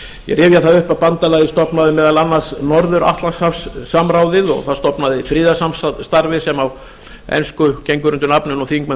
ég rifja það upp að bandalagið stofnaði meðal annars norður atlantshafssamráðið og það stofnaði friðarsamstarfið sem á ensku gengur undir nafninu og þingmenn